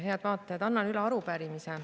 Head vaatajad!